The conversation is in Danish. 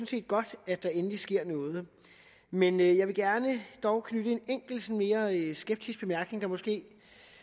set godt at der endelig sker noget men jeg vil dog gerne knytte en mere skeptisk bemærkning der måske